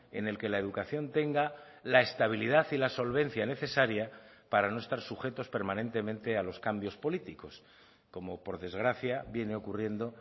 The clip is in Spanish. en el que la educación tenga la estabilidad y la solvencia necesaria para no estar sujetos permanentemente a los cambios políticos como por desgracia viene ocurriendo